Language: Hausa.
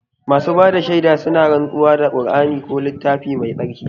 Masu bada shaida suna rantsuwa da kur'ani ko littafi mai tsarki